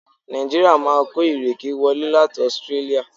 Nàìjíríà máa kó ìrèké wọlé láti Australia.